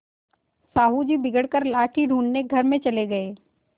साहु जी बिगड़ कर लाठी ढूँढ़ने घर में चले गये